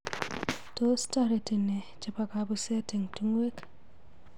Tos toreti nee chebo kabuset eng tungwek.